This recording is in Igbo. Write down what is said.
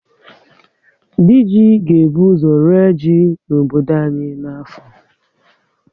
Dị ji ga ebu ọzọ ree ji n'obodo anyị na afọ